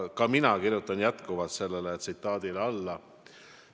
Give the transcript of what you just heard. Ent ma kirjutan jätkuvalt sellele tsitaadile alla.